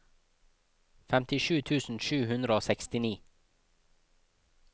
femtisju tusen sju hundre og sekstini